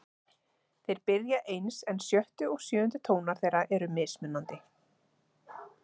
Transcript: Þeir byrja eins en sjöttu og sjöundu tónar þeirra eru mismunandi.